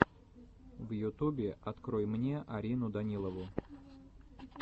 в ютубе открой мне арину данилову